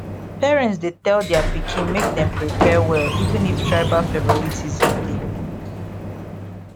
parents dey tell their pikin make dem prepare well even if tribal favoritism dey